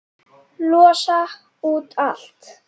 Losa út allt.